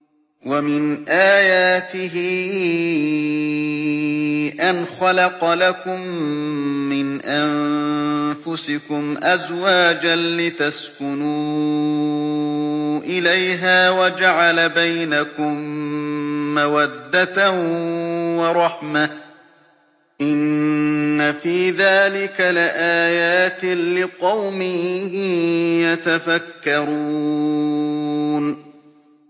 وَمِنْ آيَاتِهِ أَنْ خَلَقَ لَكُم مِّنْ أَنفُسِكُمْ أَزْوَاجًا لِّتَسْكُنُوا إِلَيْهَا وَجَعَلَ بَيْنَكُم مَّوَدَّةً وَرَحْمَةً ۚ إِنَّ فِي ذَٰلِكَ لَآيَاتٍ لِّقَوْمٍ يَتَفَكَّرُونَ